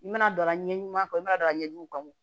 I mana don la ɲɛɲuman kɔ i mana don a ɲɛjuguw kan